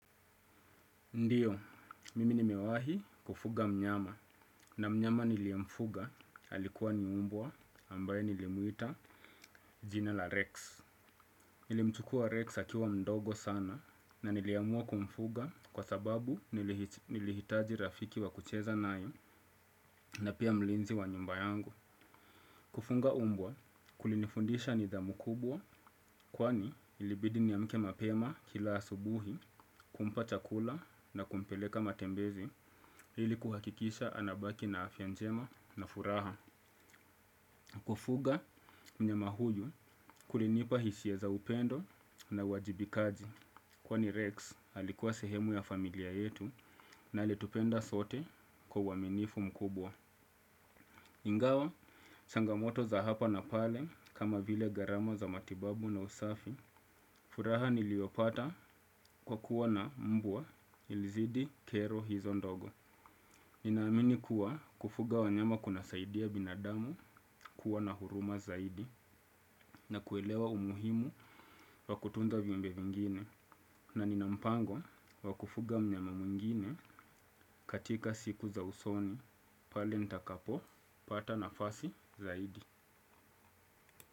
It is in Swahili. Ndiyo mimi nimewahi kufuga mnyama na mnyama niliomfuga alikuwa ni mbwa ambaye nilimuita jina la Rex. Nilimchukua Rex hkiwa mdogo sana na niliamua kumfuga kwa sababu nilihitaji rafiki wa kucheza nae na pia mlinzi wa nyumba yangu. Kufunga mbwa kulinifundisha nidhamu kubwa kwani ilibidi niamke mapema kila asubuhi kumpa chakula na kumpeleka matembezi ili kuhakikisha anabaki na afya njema na furaha. Kufuga mnyama huyu kulinipa hisia za upendo na wajibikaji kwani Rex alikuwa sehemu ya familia yetu na alitupenda sote kwa waminifu mkubwa. Ingawa, changamoto za hapa na pale kama vile garama za matibabu na usafi furaha niliopata kwa kuwa na mbwa ilizidi kero hizo ndogo. Nina amini kuwa kufuga wanyama kuna saidia binadamu kuwa na huruma zaidi. Na kuelewa umuhimu wa kutunza viumbe vingine na nina mpango wa kufuga mnyama mwingine katika siku za usoni. Pale nitakapo, pata nafasi zaidi.